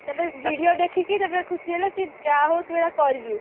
ତାପରେ video ଦେଖିକି ତାପରେ ଖୁସି ହେଲେ କି ଯାହା ହଉ ତୁ ଏଗୁଡା କରିଲୁ